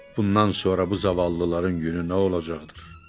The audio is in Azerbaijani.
Bundan sonra bu zavallıların günü nə olacaqdır?